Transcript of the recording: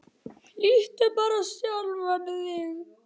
Líttu bara á sjálfan þig.